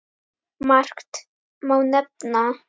Margt má nefna.